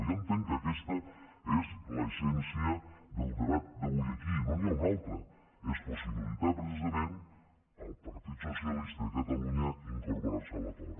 jo entenc que aquesta és l’essència del debat avui aquí no n’hi ha un altre és possibilitar precisament al partit socialista de catalunya incorporar se a l’acord